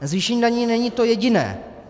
Zvýšení daní není to jediné.